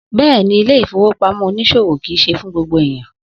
Bẹ́ẹ̀ni, ilé ìfowópamọ́ oníṣòwò kìí ṣe fun gbogbo eniyan.